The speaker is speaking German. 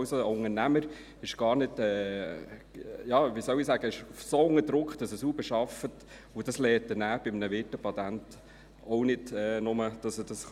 Also: Ein Unternehmer ist so unter Druck, dass er sauber arbeitet, und das lernt er bei einem Wirtepatent auch nicht, nur, dass er es kann.